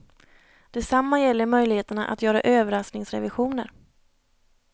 Detsamma gäller möjligheterna att göra överraskningsrevisioner.